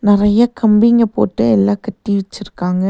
நறைய கம்பிங்க போட்டு எல்லா கட்டி விச்சிருக்காங்க.